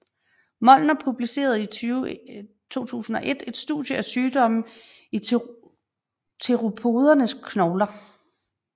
Molnar publicerede i 2001 et studie af sygdomme i theropodernes knogler